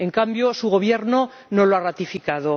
En cambio, su Gobierno no lo ha ratificado.